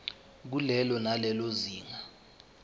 kulelo nalelo zinga